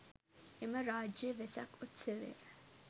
එම රාජ්‍ය වෙසක් උත්සවය